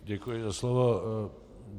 Děkuji za slovo.